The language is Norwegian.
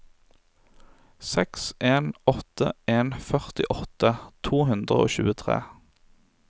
seks en åtte en førtiåtte to hundre og tjuetre